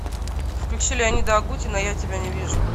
включи леонида агутина я тебя не вижу